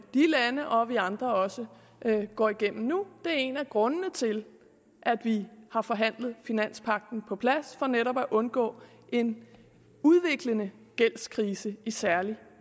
og vi andre også går igennem nu det er en af grundene til at vi har forhandlet finanspagten på plads for netop at undgå en udviklende gældskrise i særlig